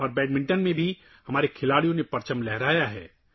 ہمارے کھلاڑیوں نے شطرنج اور بیڈمنٹن میں بھی پرچم لہرایا ہے